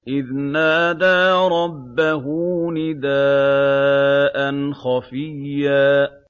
إِذْ نَادَىٰ رَبَّهُ نِدَاءً خَفِيًّا